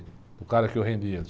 O cara que eu rendia.